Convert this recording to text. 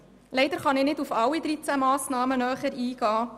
Leider kann ich nicht auf alle 13 Massnahmen näher eingehen.